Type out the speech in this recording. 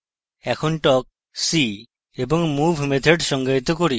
এখন talk see এবং move methods সংজ্ঞায়িত করি